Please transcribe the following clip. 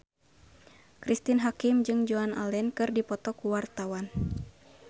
Cristine Hakim jeung Joan Allen keur dipoto ku wartawan